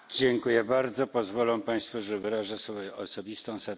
Pozwolą Państwo, że wyrażę swoją osobistą satysfakcję.